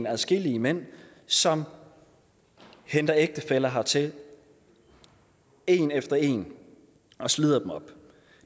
adskillige mænd som hente ægtefæller hertil en efter en og slider dem op